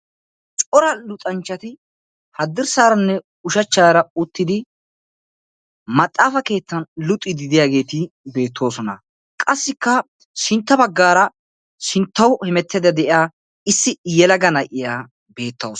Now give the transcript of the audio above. Cora luxanchchati haddirssaaranne ushachchaara maxaafa keettan luxiiddi luxiiddi de'iyageeti beettoosona. Qassikka sintta baggaara sinttauw hemettiiddi de'iya Issi yelaga na'iya beettawus.